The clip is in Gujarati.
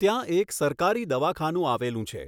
ત્યાં એક સરકારી દવાખાનું આવેલું છે.